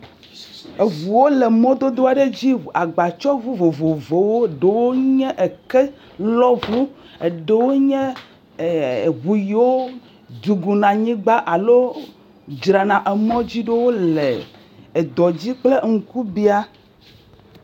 Eŋuwo le mɔdodo aɖe dzi agbatsɔŋu vovowo ɖewo nye kelɔŋu ɖewo nye eŋu yiwo duguna alo drana emɔdziɖo le edɔ dzi kpole ŋkubiã.